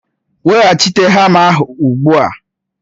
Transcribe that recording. Weghachite hama ahụ ugbu a!